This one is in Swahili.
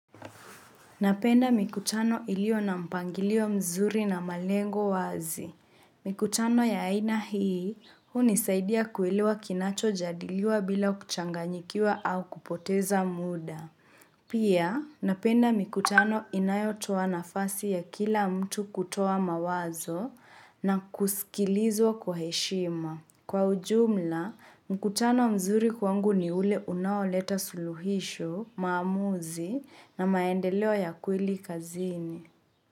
Napenda mikutano iliyo na mpangilio mzuri na malengo wazi. Mikutano ya aina hii, hunisaidia kuelewa kinacho jadiliwa bila kuchanganyikiwa au kupoteza muda. Pia, napenda mikutano inayo toa nafasi ya kila mtu kutoa mawazo, na kuskilizwa kwa heshima. Kwa ujumla, mkutano mzuri kwangu ni ule unawoleta suluhisho, maamuzi na maendeleo ya kweli kazini.